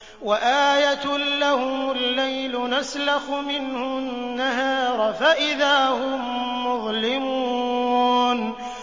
وَآيَةٌ لَّهُمُ اللَّيْلُ نَسْلَخُ مِنْهُ النَّهَارَ فَإِذَا هُم مُّظْلِمُونَ